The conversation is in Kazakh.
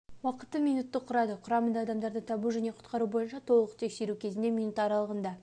уақыты минутты құрады құрамында адамдарды табу және құтқару бойынша толық тексеру кезінде минут аралығында